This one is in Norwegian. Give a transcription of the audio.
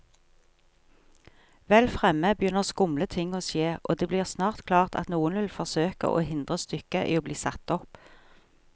Vel fremme begynner skumle ting å skje, og det blir snart klart at noen vil forsøke å hindre stykket i bli satt opp.